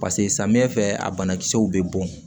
pase samiyɛ fɛ a banakisɛw be bɔn